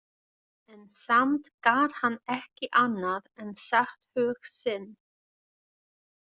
En samt gat hann ekki annað en sagt hug sinn.